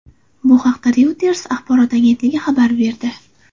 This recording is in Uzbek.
Bu haqda Reuters axborot agentligi xabar berdi .